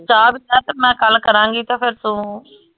ਚਾਅ ਗੱਲ ਕਰਾਂਗੀ ਤੇ ਫੇਰ ਤੂੰ